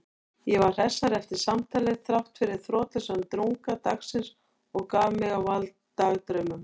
Ég var hressari eftir samtalið þráttfyrir þrotlausan drunga dagsins og gaf mig á vald dagdraumum.